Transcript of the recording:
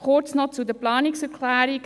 Kurz noch zu den Planungserklärungen: